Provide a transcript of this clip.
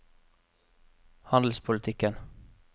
handelspolitikken